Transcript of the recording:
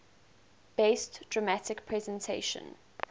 best dramatic presentation